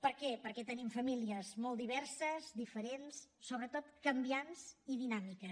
per què perquè tenim famílies molt diverses diferents sobretot canviants i dinàmiques